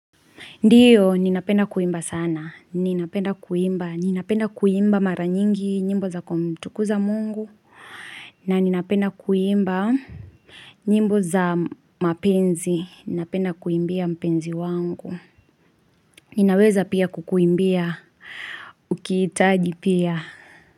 Ndiyo, ninapenda kuimba sana, ninapenda kuimba, ninapenda kuimba mara nyingi, nyimbo za kumtukuza mungu, na ninapenda kuimba, nyimbo za mapenzi, ninapenda kuimbia mapenzi wangu, Ninaweza pia kukuimbia, ukihitaji pia.